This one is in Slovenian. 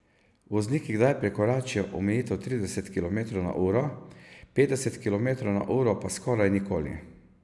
Vozniki kdaj prekoračijo omejitev trideset kilometrov na uro, petdeset kilometrov na uro pa skoraj nikoli.